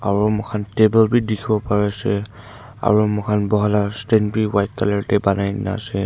aro mokhan table bi dikhiwo pari ase aro mokhan buhala stand wi white colour te banai kena ase.